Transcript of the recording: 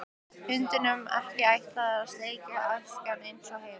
Hundunum ekki ætlað þar að sleikja askana eins og heima.